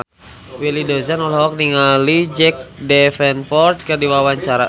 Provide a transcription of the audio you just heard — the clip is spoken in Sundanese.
Willy Dozan olohok ningali Jack Davenport keur diwawancara